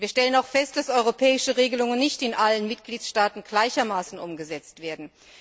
Wir stellen auch fest, dass europäische Regelungen nicht in allen Mitgliedstaaten gleichermaßen umgesetzt werden.